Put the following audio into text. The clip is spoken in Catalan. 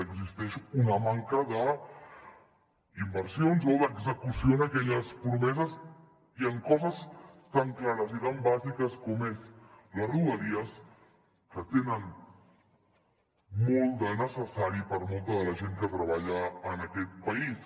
existeix una manca d’inversions o d’execució en aquelles promeses i en coses tan clares i tan bàsiques com són les rodalies que tenen molt de necessari per a molta de la gent que treballa en aquest país